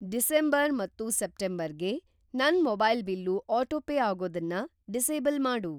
December ಮತ್ತು September ಗೆ ನನ್‌ ಮೊಬೈಲ್ ಬಿಲ್ಲು ಆಟೋಪೇ ಆಗೋದನ್ನ ಡಿಸೇಬಲ್‌ ಮಾಡು.